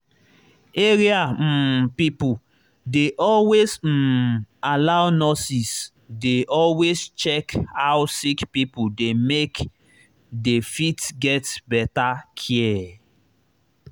area um people dey always um allow nurses dey always check how sick pipo dey make dey fit get better care.